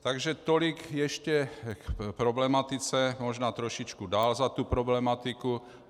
Takže tolik ještě k problematice, možná trošičku dál za tuto problematiku.